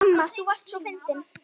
Amma þú varst svo fyndin.